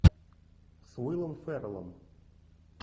с уиллом феррелом